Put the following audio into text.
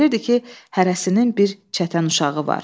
Bilirdi ki, hərəsinin bir çətən uşağı var.